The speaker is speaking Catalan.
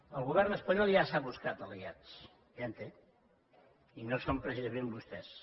el govern espanyol ja s’ha buscat aliats ja en té i no són precisament vostès